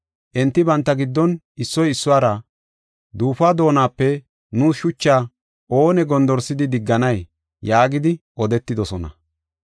Enti banta giddon issoy issuwara, “Duufuwa doonape nuus shuchaa oonee gondorsidi digganay?” yaagidi odetidosona.